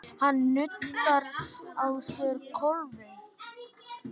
Hann nuddar á sér klofið.